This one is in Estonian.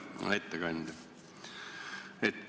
Hea ettekandja!